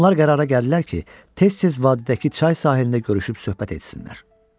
Onlar qərara gəldilər ki, tez-tez vadidəki çay sahilində görüşüb söhbət etsinlər.